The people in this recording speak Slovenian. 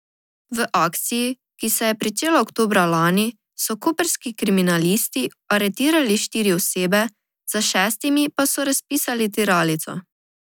V akciji, ki se je pričela oktobra lani, so koprski kriminalisti aretirali štiri osebe, za šestimi pa so razpisali tiralico.